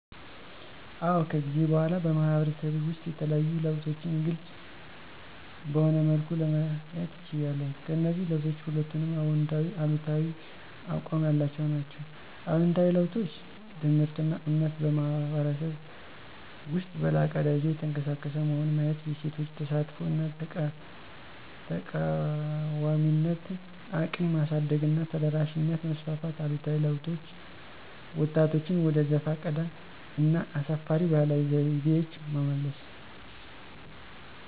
አዎ ከጊዜ በኋላ በማህበረሰቤ ውስጥ የተለዩ ለውጦችን ግልፅ በሆነ መልኩ ለማየት ችያለሁ። ከእነዚህ ለውጦች ሁለቱንም አዎንታዊና አሉታዊ አቋም ያላቸው ናቸው። አዎንታዊ ለውጦች: ትምህርትና እምነት በማኅበረሰብ ውስጥ በላቀ ደረጃ እየተቀሰቀሰ መሆን ማየት የሴቶች ተሳትፎ እና ተቃዋሚነት እቅም ማሳደግና ተደራሽነት ማስፋፋት አሉታዊ ለውጦች: ወጣቶችን ወደ ዘፈቀደ እና አሳፋሪ ባህላዊ ዘይቤዎች መመለስ።